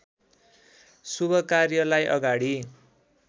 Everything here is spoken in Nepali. शुभ कार्यलाई अगाडि